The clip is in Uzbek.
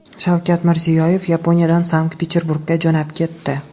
Shavkat Mirziyoyev Yaponiyadan Sankt-Peterburgga jo‘nab ketdi.